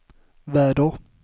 väder